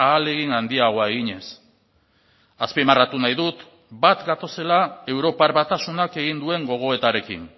ahalegin handiagoa eginez azpimarratu nahi dut bat gatozela europar batasunak egin duen gogoetarekin